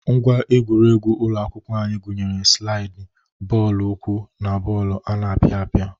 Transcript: Ngwa egwuregwu ụlọ akwụkwọ anyị gụnyere slaiịdị, bọọlụ ụkwụ na bọọlụ ana apịa apịa.